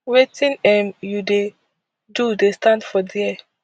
wetin um you dey do dey stand for dia